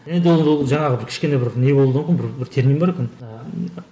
енді ол жаңағы бір кішкене бір не болуы бір термин бар екен ыыы